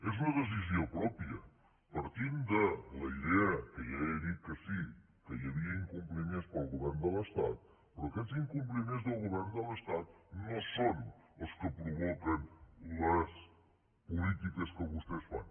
és una decisió pròpia partint de la idea que ja he dit que sí que hi havia incompliments pel govern de l’estat però aquests incompliments del govern de l’estat no són els que provoquen les polítiques que vostès fan